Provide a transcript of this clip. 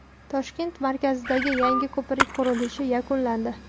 Toshkent markazidagi yangi ko‘prik qurilishi yakunlandi.